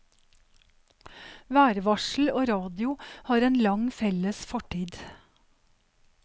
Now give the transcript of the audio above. Værvarsel og radio har en lang felles fortid.